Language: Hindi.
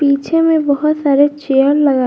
पीछे में बहुत सारे चेयर लगाए--